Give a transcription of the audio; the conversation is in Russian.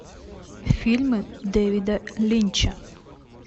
фильмы дэвида линча